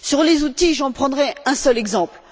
Sur les outils, j'en prendrai un seul exemple.